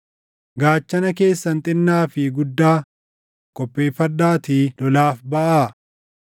“Gaachana keessan xinnaa fi guddaa qopheeffadhaatii lolaaf baʼaa!